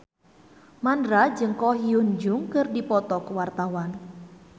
Mandra jeung Ko Hyun Jung keur dipoto ku wartawan